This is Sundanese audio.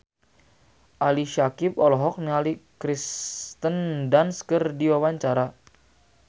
Ali Syakieb olohok ningali Kirsten Dunst keur diwawancara